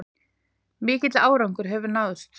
Mikill árangur hefur náðst